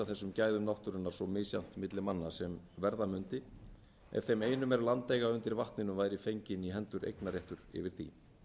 þessum gæðum náttúrunnar svo misjafnt milli manna sem verða mundi ef þeim einum er land eiga undir vatninu fenginn í hendur eignarréttur yfir því